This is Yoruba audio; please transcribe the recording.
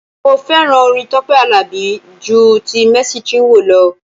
Mo fẹ́ràn orin Tọ́pẹ́ Àlàbí ju ti Mercy Chinwo lọ.